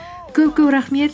көп көп рахмет